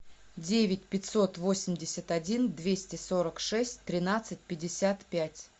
девять пятьсот восемьдесят один двести сорок шесть тринадцать пятьдесят пять